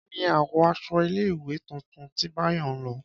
Kí ni àwọ̀ aṣọ ilé ìwé tuntun tí Báyọ̀ ń lọ?